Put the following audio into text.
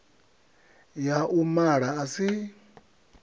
ya u mala a si